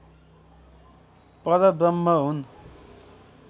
परब्रह्म हुन्